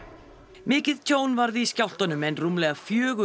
mikið tjón varð í skjálftunum en rúmlega fjögur